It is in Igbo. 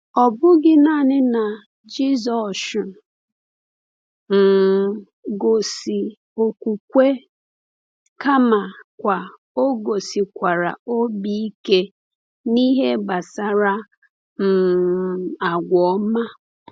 Ọ bụghị naanị na Jisọshụ um gosi okwukwe, kamakwa o gosikwara obi ike n’ihe gbasara um agwa ọma.